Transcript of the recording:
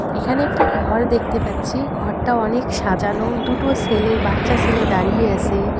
এখানে একটি ঘর দেখতে পাচ্ছি ঘরটা অনেক সাজানো দুটো ছেলে বাচ্চা ছেলে দাঁড়িয়ে আসে।